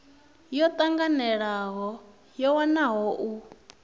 yo tanganelaho yo wanwaho u